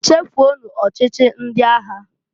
Chefuonu ọchịchị ndị agha!